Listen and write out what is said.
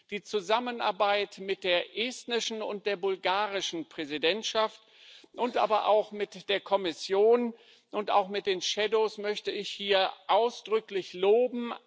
Die Zusammenarbeit mit der estnischen und der bulgarischen Präsidentschaft, aber auch mit der Kommission und mit den Schattenberichterstattern möchte ich hier ausdrücklich loben.